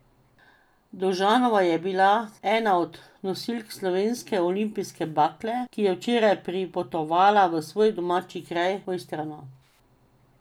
Dovžanova je bila ena od nosilk slovenske olimpijske bakle, ki je včeraj pripotovala v svoj domači kraj, Mojstrano.